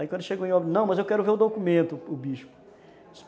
Aí quando chegou em, não, mas eu quero ver o documento, o Bispo.